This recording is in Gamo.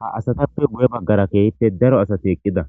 ha asatappe gu7e baggara keehippe daro asati eqqida.